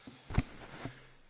Pani przewodnicząca!